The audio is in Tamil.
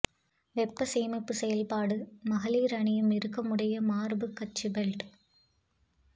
வெப்ப சேமிப்பு செயல்பாடு மகளிர் அணியும் இறுக்கமுடைய மார்புக் கச்சு பெல்ட்